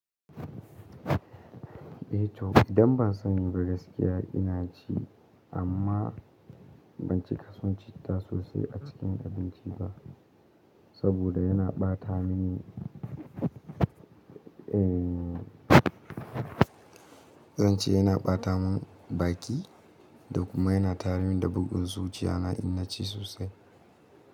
Eh to, idan ba sani ba gaskiya ina ci amma ban cika son citta sosai a cikin abinci ba, saboda yana ɓata mini, eh zan ce yana ɓata min baki da kuma yana tare mini da bugun zuciya na in na ci sosai.